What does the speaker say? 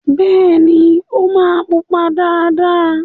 Bẹ́ẹ̀ni, ó máa pupa dáadáa.